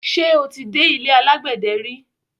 Ṣé o ti dé ilé alágbẹ̀dẹ ri?